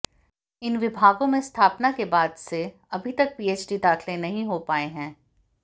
इन विभागों में स्थापना के बाद से अभी तक पीएचडी दाखिले नहीं हो पाए हैं